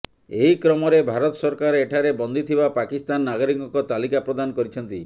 ଏହି କ୍ରମରେ ଭାରତ ସରକାର ଏଠାରେ ବନ୍ଦୀ ଥିବା ପାକିସ୍ତାନ ନାଗରିକଙ୍କ ତାଲିକା ପ୍ରଦାନ କରିଛନ୍ତି